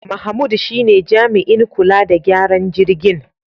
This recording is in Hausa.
Mahmud shine jami'in kula da gyaran jirgin.